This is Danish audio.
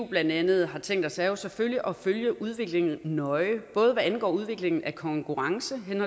blandt andet har tænkt os er jo selvfølgelig at følge udviklingen nøje både hvad angår udviklingen af konkurrence